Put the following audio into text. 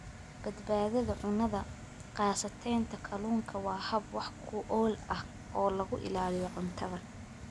Badbaadada Cunnada Qasacadaynta kalluunka waa hab wax ku ool ah oo lagu ilaaliyo cuntada.